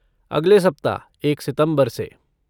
अगले सप्ताह, एक सितम्बर से।